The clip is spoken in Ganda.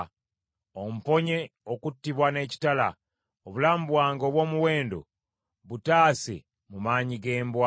Omponye okuttibwa n’ekitala; obulamu bwange obw’omuwendo butaase mu maanyi g’embwa!